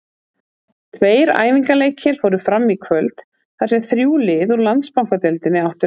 Tveir æfingaleikir fóru fram í kvöld þar sem þrjú lið úr Landsbankadeildinni áttu leik.